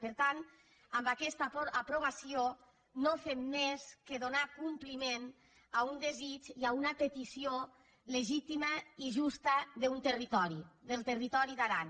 per tant amb aquesta aprovació no fem més que donar compliment a un desig i a una petició legítima i justa d’un territori del territori d’aran